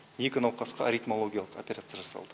екі науқасқа ритмологиялық операция жасалды